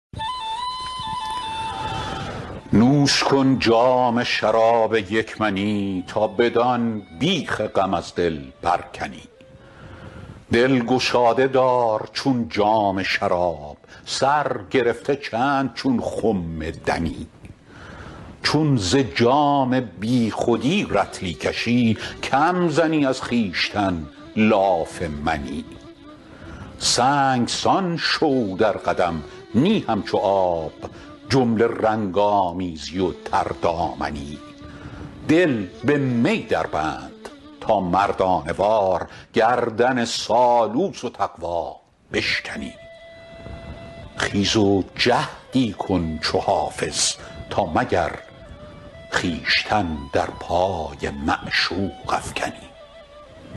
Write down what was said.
نوش کن جام شراب یک منی تا بدان بیخ غم از دل برکنی دل گشاده دار چون جام شراب سر گرفته چند چون خم دنی چون ز جام بی خودی رطلی کشی کم زنی از خویشتن لاف منی سنگسان شو در قدم نی همچو آب جمله رنگ آمیزی و تردامنی دل به می دربند تا مردانه وار گردن سالوس و تقوا بشکنی خیز و جهدی کن چو حافظ تا مگر خویشتن در پای معشوق افکنی